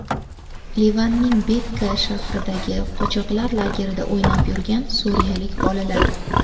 Livanning Bekaa shahridagi qochoqlar lagerida o‘ynab yurgan suriyalik bolalar.